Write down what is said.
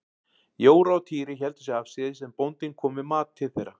Jóra og Týri héldu sig afsíðis en bóndinn kom með mat til þeirra.